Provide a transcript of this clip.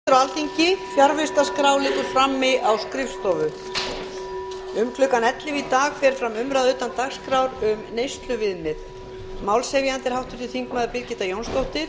um klukkan ellefu í dag fer fram umræða utan dagskrár um neysluviðmið málshefjandi er háttvirtur þingmaður birgitta jónsdóttir